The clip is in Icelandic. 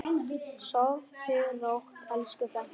Sofðu rótt, elsku frænka.